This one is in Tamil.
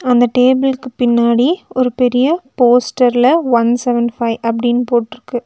அந்த டேபிள்க்கு பின்னாடி ஒரு பெரிய போஸ்டர்ல ஒன் செவன் பைவ் அப்டின்னு போட்ருக்கு.